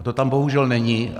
A to tam bohužel není.